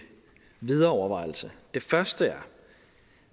videre overvejelse det første er